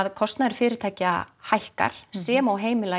kosnaður fyrirtæki hækkar sem og heimila í